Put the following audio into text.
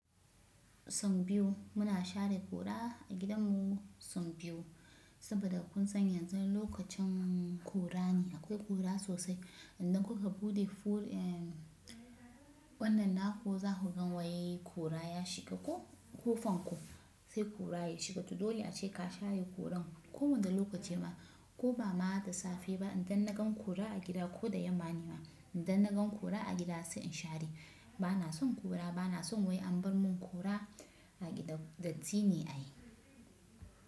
Son biyu muna share ƙura a gidanmu son biyu, saboda kun san yanzu lokacin ƙura ne akwai ƙura sosai. Idan kuka buɗe fur, wannan naku za ku gan waye ƙura ya shiga ko ƙofan ku, sai ƙura ya shiga. To dole a ce ka shaye ƙuran. Ko wanda lokaci ma ko ba ma da safe ba idan na gan ƙura a gida ko da yamma ne ma idan na gan ƙura a gida sai in share. Bana son ƙura bana son wai an bar mun ƙura a gida datti ne a yi.